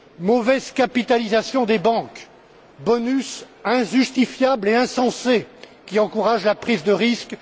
Mauvaise capitalisation des banques, bonus injustifiables et insensés, qui encouragent la prise de risque.